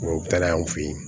Tubabu tagala an fɛ yen